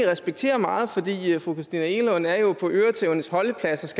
respekterer meget fordi fru christina egelund jo er på øretævernes holdeplads